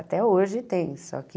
Até hoje tem, só que...